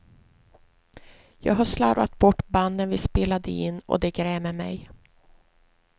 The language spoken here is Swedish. Jag har slarvat bort banden vi spelade in och det grämer mej.